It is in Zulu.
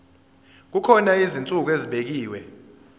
kukhona izinsuku ezibekiwe